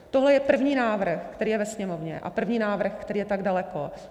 Tohle je první návrh, který je ve Sněmovně, a první návrh, který je tak daleko.